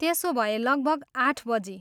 त्यसोभए, लगभग आठ बजी?